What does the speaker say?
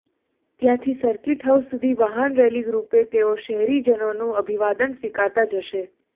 ત્યાંથી ર્સિકટહાઉસ સુધી વાહનરેલી રૃપે તેઓ શહેરીજનોનું અભિવાદન સ્વીકારતાં જશે